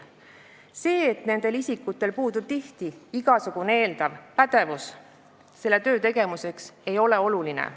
See, et nendel isikutel puudub tihti igasugune eeldatav pädevus töö tegemiseks, ei ole oluline.